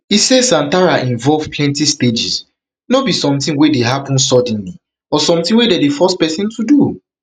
e say santhara involve plenty stages no be sometin wey dey happun suddenly or sometin dem dey force pesin to do